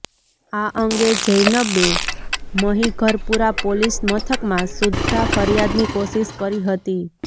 આ અંગે જૈનબે મહિઘરપુરા પોલીસ મથકમાં સુદ્ધા ફરિયાદની કોશિષ કરી હતી